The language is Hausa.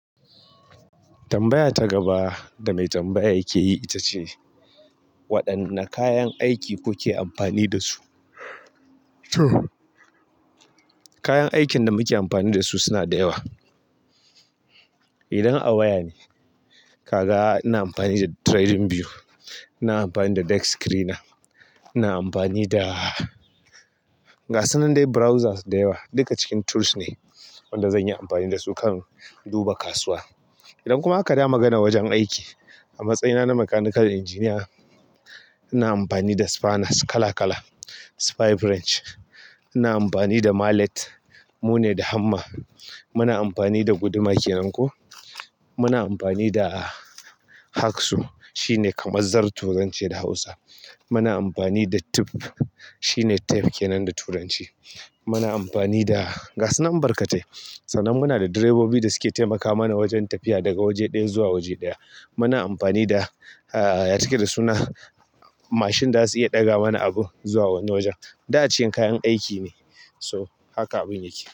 Tambaya ta gaba da mai tambaya yake yi ita ce, waɗanne kayan aiki kuke amfani da su? To kayan aikin da muke amfani da su suna da yawa. Idan a waya ne, ka ga ina amfani da TradingView, ina amfani da Dex Screener, ina amfani da gasun nan dai browsers da yawa. Duka cikin tools ne wanda zan yi amfani da su kan duba kasuwa. Idan kuma aka dawo magana wajen aiki, a matsayina na mechanical engineer, ina amfani da spanners kala kala, spy branch, ina amfani da mallet, mu ne da hammer. Muna amfani da guduma ke nan ko. Muna amfani da hacksaw shine kamar zarto zance da Hausa. Muna amfani da tip shine tape ke nan da turanci. Muna amfani da gasan nan barkatai. Sannan muna da direbobi da suke taimaka mana wajen tafiya daga waje ɗaya zuwa waje ɗaya. Muna amfani da, ah, ya yake da suna mashin da za su iya daga mana abun zuwa wani wajen. Duk a cikin kayan aiki ne, so haka abin yake.